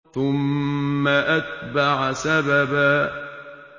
ثُمَّ أَتْبَعَ سَبَبًا